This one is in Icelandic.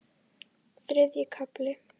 Þriðji kafli